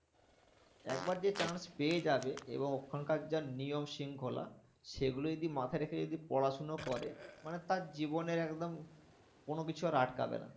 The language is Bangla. একবার যে chance পেয়ে যাবে এবং ওখান কার যা নিয়ম শৃঙ্খলা সেগুলো যদি মাথায় রেখে যদি পড়াশোনা করে মানে তার জীবনের একদম কোনোকিছু আর আটকাবে না।